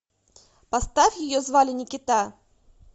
поставь ее звали никита